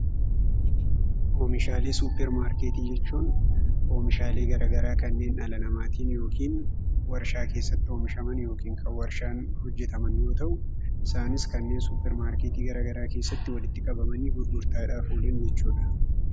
Oomishaalee suuparmaarketii jechuun oomishaalee garaa garaa kanneen dhala namaatiin yookiin waarshaa keessatti oomishaman yookiin kan waarshaan hojjetaman yoo ta'u, isaanis kanneen suuparmaarketii gara garaa keessatti walitti qabamanii gurgurtaadhaaf oolan jechuudha.